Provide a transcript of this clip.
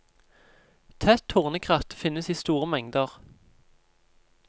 Tett tornekratt finnes i store mengder.